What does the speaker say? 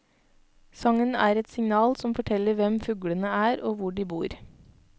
Sangen er et signal som forteller hvem fuglene er og hvor de bor.